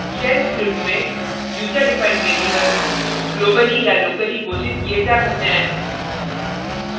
* shell script में user defined variables globally या locally घोषित किये जा सकते हैं